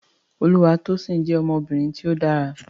Olúwatósìn jẹ́ ọmọbìnrin tí ó dára